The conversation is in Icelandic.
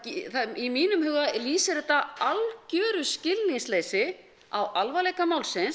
í mínum huga lýsir þetta algjöru skilningsleysi á alvarleika málsins